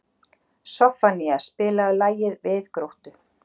Soffanías, spilaðu lagið „Við Gróttu“.